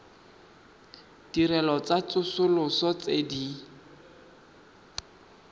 ditirelo tsa tsosoloso tse di